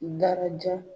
Daraja